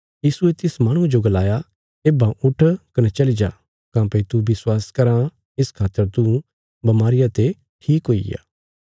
यीशुये तिस माहणुये जो गलाया येब्बां उट्ठ कने चली जा काँह्भई तू विश्वास कराँ इस खातर तू बमारिया ते ठीक हुईग्या